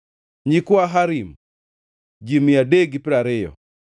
nyikwa Harim, ji mia adek gi piero ariyo (320)